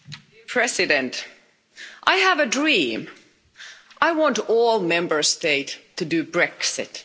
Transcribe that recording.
Mr President, I have a dream. I want all Member States to do Brexit.